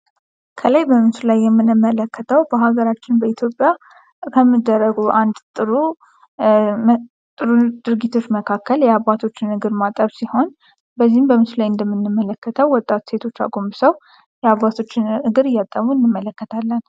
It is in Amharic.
ከላይ በምስሉ ላይ የምንመለከተው በአገራችን ኢትዮጵያ ከሚደረጉ አንድ ጥሩ ድርጊቶች መካከል የአባቶችን የእግር ማጠብ ሲሆን በዚህም በምስሎ ላይ እንደምንመለከተው ወጣት ሴቶች አጎብሰው የአባቶችን እግር እያጠቡ እንመለከታለን።